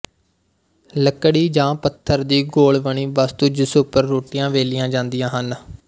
ਲੱਕੜੀ ਜਾਂ ਪੱਥਰ ਦੀ ਗੋਲ ਬਣੀ ਵਸਤੂ ਜਿਸ ਉੱਪਰ ਰੋਟੀਆਂ ਵੇਲੀਆਂ ਜਾਂਦੀਆਂ ਹਨ